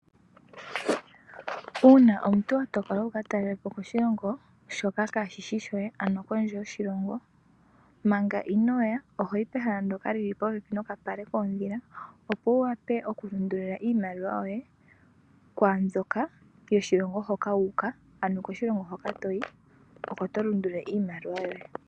Uuna omuntu watokola wukatalele po koshilongo shoka kaashishi shoye ano kondje yoshilongo. Manga inooya ohoyi pehala ndjoka lili popepi nokapale koodhila, opo wuwape okulundululila iimaliwa yoye kwabywoka yoshilongo hoka wuuka, ano koshilongo hoka toyi oko tolundululile iimaliwa yoye.